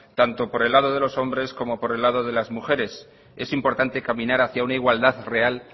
tanto por el lado de los hombres como por el lado de las mujeres es importante caminar hacia una igualdad real